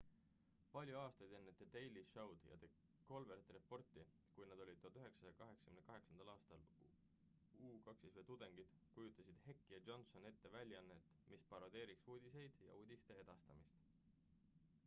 palju aastaid enne the daily show'd ja the colbert reporti kui nad olid 1988 aastal uw tudengid kujutasid heck ja johnson ette väljaannet mis parodeeriks uudiseid ja uudiste edastamist